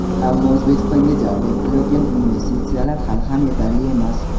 Ammo O‘zbekistonga jalb etilayotgan investitsiyalar hali ham yetarli emas.